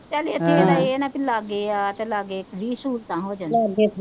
ਚੱਲ ਇੱਥੇ ਇਹ ਆ ਨਾਂ ਭੇਈ ਲਾਗੇ ਆ ਲਾਗੇ ਵੀਹ ਸਹੂਲਤਾ ਹੋ ਜਾਂਦੀਆ,